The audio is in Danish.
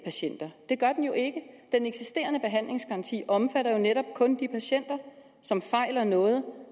patienter det gør den jo ikke den eksisterende behandlingsgaranti omfatter jo netop kun de patienter som fejler noget